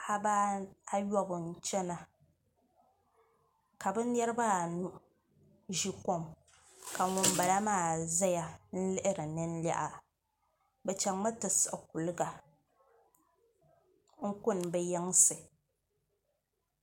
Paɣaba ayobu n chɛna ka bi niraba anu ʒi kom ka ŋunbala maa ʒɛya n lihiri ninliha bi chɛŋmi ti siɣi kuliga n kuni bi yinsi